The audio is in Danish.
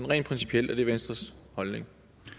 rent principielt er det venstres holdning